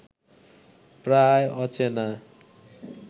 প্রায় অচেনা